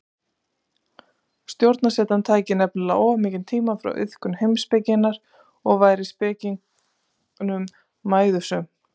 Stjórnarsetan tæki nefnilega of mikinn tíma frá iðkun heimspekinnar og væri spekingnum mæðusöm.